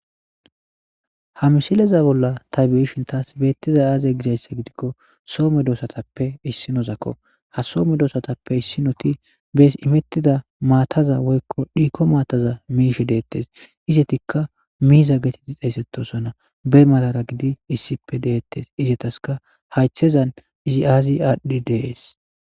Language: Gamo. Ha misileza bolla ta biishin taas beettiza aaze gizayssa gidikko soome doosatappe issinozakko ha soo medoossatappe issinoti bees imettida maataza woykko dhiiko maataza miishe deettes izetikka miiza getiti xeyssettosona be malara gidi issippe deettes izetaska haythezan izi aazi aadhdhi dees.